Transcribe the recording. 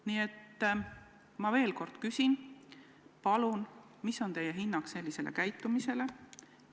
Nii et ma veel kord küsin: palun öelge, milline on teie hinnang sellisele käitumisele?